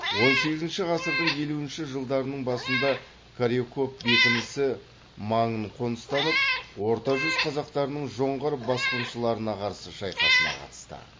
он сегізінші ғасырдың елуінші жылдарының басында коряков бекінісі маңын қоныстанып орта жүз қазақтарының жоңғар басқыншыларына қарсы шайқасына қатысты